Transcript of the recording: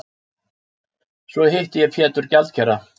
Svo hitti ég Pétur gjaldkera.